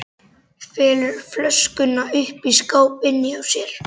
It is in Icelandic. Felur flöskuna uppi í skáp inni hjá sér.